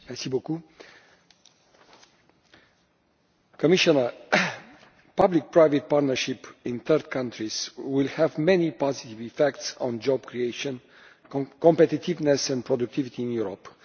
Madam President, public private partnerships in third countries will have many positive effects on job creation, competitiveness and productivity in Europe.